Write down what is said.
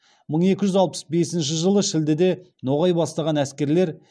мың екі жүз алпыс бесінші жылы шілдеде ноғай бастаған әскерлер